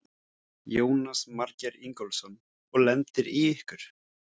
Jónas Margeir Ingólfsson: Og lendir í ykkur?